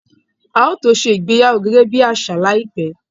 A ó tó ṣe ìgbéyàwó gẹ́gẹ́ bí àṣà láìpẹ́